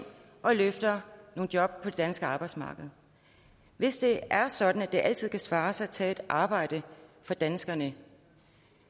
og løfter nogle job på det danske arbejdsmarked hvis det er sådan at det altid kan svare sig at tage et arbejde for danskerne